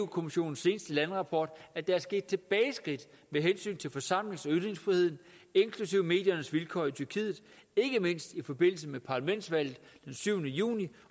kommissionens seneste landerapport at der er sket tilbageskridt med hensyn til forsamlings og ytringsfriheden inklusive mediernes vilkår i tyrkiet ikke mindst i forbindelse med parlamentsvalget den syvende juni